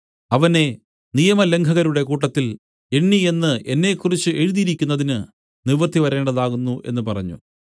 അവനെ നിയമലംഘകരുടെ കൂട്ടത്തിൽ എണ്ണി എന്നു എന്നെക്കുറിച്ച് എഴുതിയിരിക്കുന്നതിന് നിവൃത്തി വരേണ്ടതാകുന്നു എന്നു പറഞ്ഞു